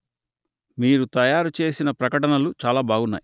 మీరు తయారు చేసిన ప్రకటనలు చాలా బాగున్నాయి